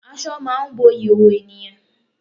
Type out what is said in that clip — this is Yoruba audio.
Aṣọ máà ń bo ìhòòhò ènìyàn.